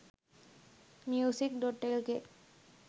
music.lk